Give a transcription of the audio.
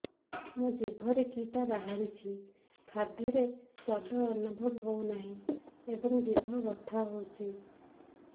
ମୋ ଜିଭରେ କିଟା ବାହାରିଛି ଖାଦ୍ଯୟରେ ସ୍ୱାଦ ଅନୁଭବ ହଉନାହିଁ ଏବଂ ଜିଭ ବଥା ହଉଛି